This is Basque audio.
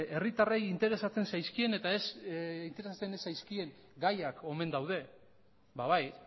herritarren interesatzen zaizkien eta interesatzen ez zaizkien gaiak omen daude ba bai